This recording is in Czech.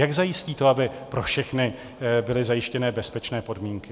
Jak zajistí to, aby pro všechny byly zajištěné bezpečné podmínky?